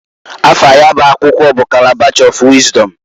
Afa ya bụ akwụkwọ bu Kalabash ọ Wịzdọm.